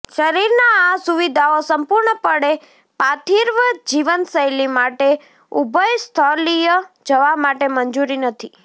શરીરના આ સુવિધાઓ સંપૂર્ણપણે પાર્થિવ જીવનશૈલી માટે ઉભયસ્થલીય જવા માટે મંજૂરી નથી